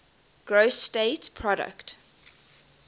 gross state product